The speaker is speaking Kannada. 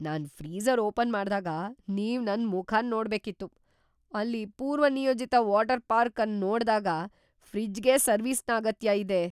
ನಾನ್ ಫ್ರೀಜರ್ ಓಪನ್ ಮಾಡ್ದಾಗ ನೀವ್ ನನ್ ಮುಖನ್ ನೋಡ್ಬೇಕಿತ್ತು. ಅಲ್ಲಿ ಪೂರ್ವನಿಯೋಜಿತ ವಾಟರ್ ಪಾರ್ಕ್ ಅನ್ ನೋಡ್ದಾಗ ಫ್ರಿಜ್ಗೆ ಸರ್ವೀಸ್ನ ಅಗತ್ಯ ಇದೆ.